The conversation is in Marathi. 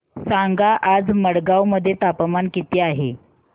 सांगा आज मडगाव मध्ये तापमान किती आहे